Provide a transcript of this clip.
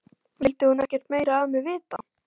Vildi hún ekkert meira af mér vita?